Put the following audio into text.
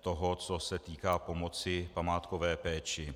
toho, co se týká pomoci památkové péči.